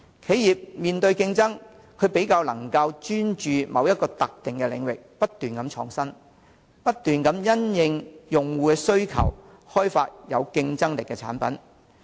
企業要面對競爭，須較能專注於某一特定領域不斷創新，不斷因應用戶需求開發有競爭力的產品。